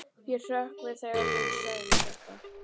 Ég hrökk við þegar hún sagði þetta.